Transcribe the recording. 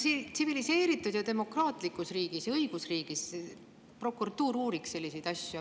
Tsiviliseeritud ja demokraatlikus riigis ja õigusriigis prokuratuur uuriks selliseid asju.